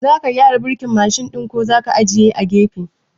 Zaka gyara birkin Mashin ɗin ko zaka ajiye a gefe?